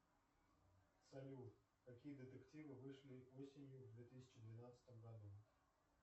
салют какие детективы вышли осенью в две тысячи двенадцатом году